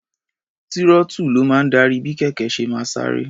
Túrọ́ọ́tù ló máa ń darí bí kẹ̀kẹ́ ṣe máa sáré.